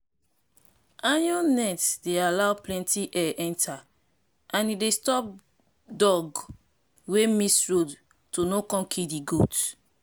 iron net dey allow plenty air enter and e dey stop dog wey miss road to no come kill di goat